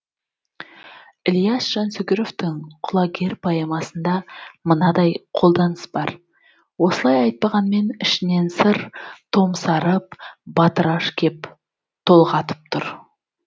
ілияс жансүгіровтың құлагер поэмасында мынадай қолданыс бар осылай айтпағанмен ішінен сыр томсарып батыраш кеп толғатып тұр